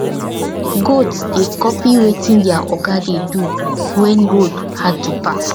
goat dey copy wetin their oga de do when road hard to pass